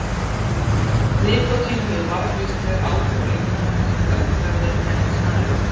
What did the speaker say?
nikótín hefur margvísleg áhrif á líkamann sem öll verður að telja skaðleg